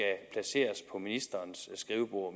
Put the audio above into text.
om ministerens skrivebord